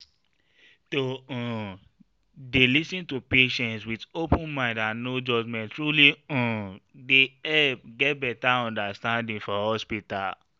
to um dey lis ten to patients with open mind and no judgment truly um dey help get better understanding for hospital.